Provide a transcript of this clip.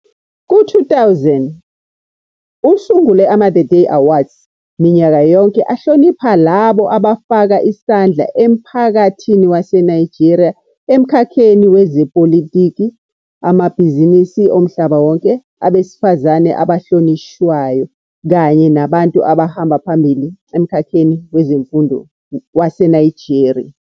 Ku-2000 usungule ama-Theday Awards minyaka yonke ahlonipha labo abafaka isandla emphakathini waseNigeria emkhakheni wezepolitiki, amabhizinisi omhlaba wonke, Abesifazane abahlonishwayo, kanye nabantu abahamba phambili emkhakheni wezemfundo waseNigeria.